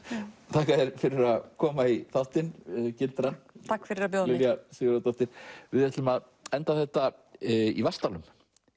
þakka þér fyrir að koma í þáttinn takk fyrir að bjóða mér við ætlum að enda þetta í Vatnsdalnum